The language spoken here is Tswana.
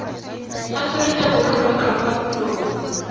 aforika borwa kgotsa kwa ntlong